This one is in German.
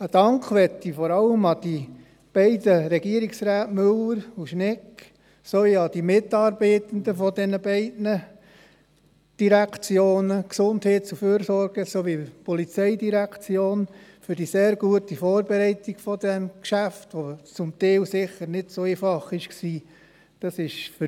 Einen Dank möchte ich vor allem den beiden Regierungsräten Müller und Schnegg sowie ihren Mitarbeitenden der beiden Direktionen GEF und POM aussprechen für die sehr gute und zum Teil sicher nicht so einfache Vorbereitung dieses Geschäfts.